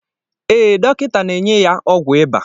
Ee, Dọkịta na enye ya ọgwụ iba